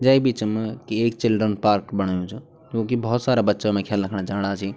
Jack Beecham कि एक children park बणयु च क्युकी भौत सारा बच्चा उमा खेलना खण जाणा सी।